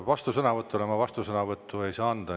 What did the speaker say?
Vastusõnavõtule ma vastusõnavõttu ei saa anda.